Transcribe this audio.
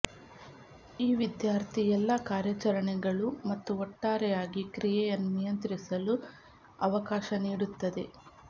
ಈ ವಿದ್ಯಾರ್ಥಿ ಎಲ್ಲಾ ಕಾರ್ಯಾಚರಣೆಗಳು ಮತ್ತು ಒಟ್ಟಾರೆಯಾಗಿ ಕ್ರಿಯೆಯನ್ನು ನಿಯಂತ್ರಿಸಲು ಅವಕಾಶ ನೀಡುತ್ತದೆ